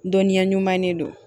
Dɔnniya ɲuman ne don